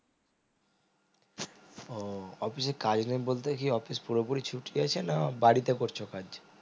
ও office এ কাজ নেই বলতে কি office পুরোপুরি ছুটি আছে না বাড়িতে কোরছো কাজ